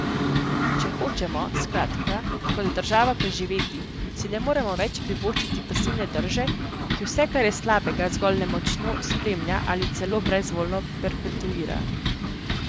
Če hočemo, skratka, kot država preživeti, si ne moremo več privoščiti pasivne drže, ki vse kar je slabega, zgolj nemočno spremlja ali celo brezvoljno perpetuira.